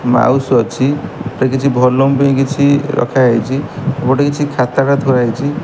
Mouse ଅଛି। ଏଠିରେ କିଛି ଭଲୁମ୍ ପାଇଁ କିଛି ରଖା ହେଇଚି। ଗୋଟେ କିଛି ଖାତାଟା ଥୁଆ ହେଇଚି।